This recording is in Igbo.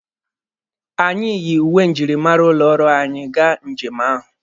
Anyị yi uwe njirimara ụlọ ọrụ anyị gaa njem ahụ.